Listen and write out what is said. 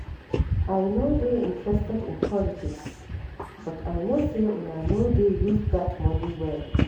I no dey interested in politics but I no say una no dey use dat money well